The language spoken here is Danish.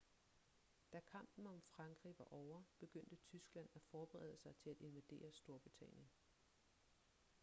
da kampen om frankrig var ovre begyndte tyskland at forberede sig til at invadere storbritannien